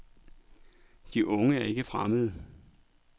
De unge er ikke fremmede.